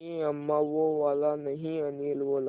नहीं अम्मा वो वाला नहीं अनिल बोला